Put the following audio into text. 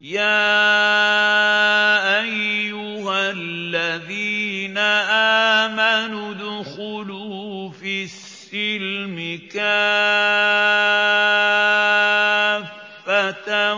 يَا أَيُّهَا الَّذِينَ آمَنُوا ادْخُلُوا فِي السِّلْمِ كَافَّةً